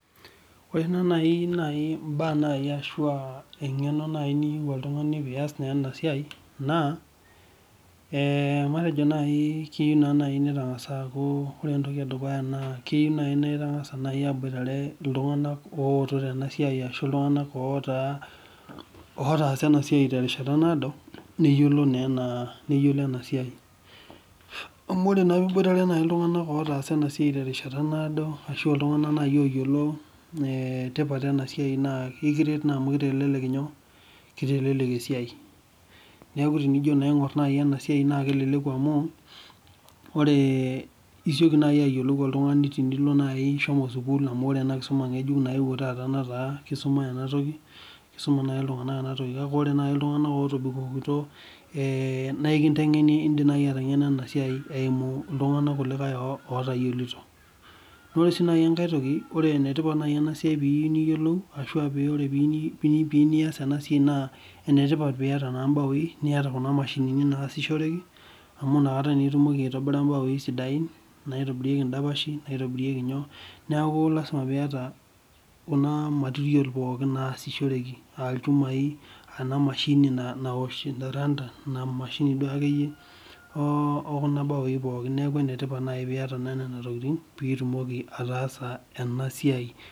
Ore naaaji mbaa ashu engeno niyieu oltungani pee eiyas ena siai, naa keyieu naa naaji na ore entoki edukuya naa keyieu naa ingas aboitare iltunganak ooto tena siai ashu iltunganak otaasa ena siai terishata naado, neyiolo ena siai. Amu ore naa opee iboitare iltunganak otaasa ena siai terishata naado ashu iltunganak naaji oyiolo tipat ena siai naa ekiret naa amu kitelelek esiai .Neeku tinijo naa aingor ena siai naa keleleku amu, isioki naaji ayiolou oltungani teneeku ishomo sukul amu ore ena kisuma ngejuko nayeuo taata netaa kisuma ena toki ,kake ore naaji iltunganak ootobikokito naa enkintengeni indim naaji atayiolo ena siai eimu iltunganak kulikae ootayiolito. Ore sii enkae toki orte paa enetipat ena siai ashu pee iyieu niyiolou, ashua ore paa enetipat pee iyieu niyas ena siai naa kifaa naa pee eniyata mbaoi, niyata kuna mashinini naasishoreki amu inakata naa itumoki aitobira mbaoi sidain naitobirieki ndapashi naitobirieki nyoo. Neeku lasima pee iyata kuna material pookin naasishoreki aa lchumai aa ena mashini naosh randa ,emashini duo akeyie okuna baoi pookin lasima pee iyeta nena tokiting pee itumoki ataasa ena siai.